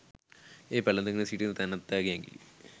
එය පැලඳගෙන සිටින තැනැත්තාගේ ඇඟිලි